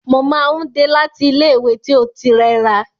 Mo máa n dé láti ilẹ ìwé tí o ti rẹra.